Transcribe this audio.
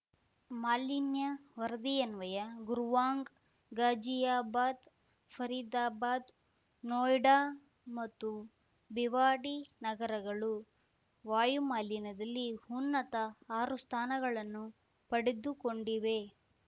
ಮಾಲಿನ್ಯ ವರದಿಯನ್ವಯ ಗುರುವಾಂಗ್ ಘಾಜಿಯಾಬಾದ್ ಫರೀದಾಬಾದ್ ನೊಯ್ಡಾ ಮತ್ತು ಬಿವಾಡಿ ನಗರಗಳು ವಾಯು ಮಾಲಿನ್ಯದಲ್ಲಿ ಉನ್ನತ ಆರು ಸ್ಥಾನಗಳನ್ನು ಪಡೆದುಕೊಂಡಿವೆ